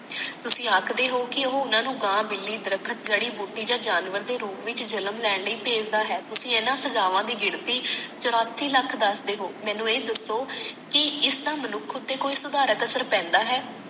ਤੁਸੀ ਆਖਦੇ ਹੋ ਕਿ ਉਹ ਉਹਨਾਂ ਨੂੰ ਗਾਹ ਮਿਲੀ ਦਰਖਤ ਜੜੀ ਬੂਟੀ ਯਾ ਜਾਨਵਰ ਦੇ ਰੂਪ ਵਿਚ ਜਨਮ ਲੈਣ ਲਈ ਭੇਜਦਾ ਹੈ ਤੁਸੀ ਇਹਨਾਂ ਸਜਾਵਾਂ ਦੀ ਗਿਣਤੀ ਚੁਰਾਸੀ ਲੱਖ ਦਸਦੇ ਹੋ ਮੈਨੂੰ ਇਹ ਦਸੋ ਕਿ ਇਸਦਾ ਮਨੁੱਖ ਉਤੇ ਕੋਈ ਸੁਧਾਰਕ ਅਸਰ ਪੈਂਦਾ ਹੈ